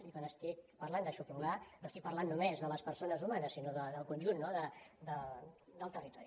i quan estic parlant d’aixoplugar no estic parlant només de les persones humanes sinó del conjunt no del territori